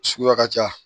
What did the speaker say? Suguya ka ca